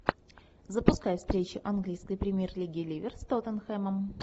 запускай встречу английской премьер лиги ливер с тоттенхэмом